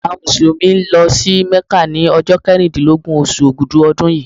Àwọn Mùsùlùmí lọ sí Mecca ni ọjọ́ keríndínlọ́gbọ̀n oṣù Ògudù ọdún yìí.